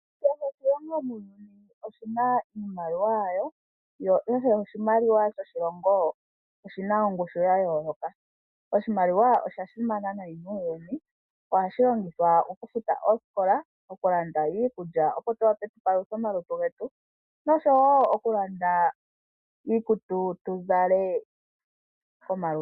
Kehe oshilongo muuyuni oshina iimaliwa yawo ,yo kehe oshimaliwa shoshilongo oshina iimaliwa ya yooloka, oshimaliwa osha simana nayi muuyuni ohashi longithwa oku futa oosikola oku landa iikulya opo tu wape tukaleke omalutu getu muundjolowele oshowo oku landa iikutu tu zale komalutu getu.